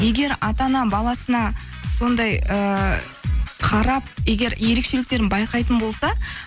егер ата ана баласына сондай ыыы қарап егер ерекшеліктерін байқайтын болса